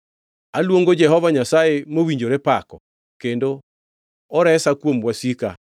“Aluongo Jehova Nyasaye, mowinjore pako, kendo oresa kuom wasika.